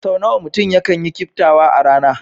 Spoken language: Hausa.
Sau nawa mutum yakan yi kiftawa a rana?